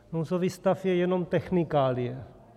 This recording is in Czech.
Nouzový stav je jenom technikálie.